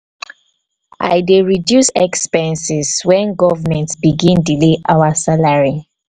i dey reduce expenses wen government begin delay our salary